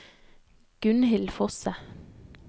Gunnhild Fosse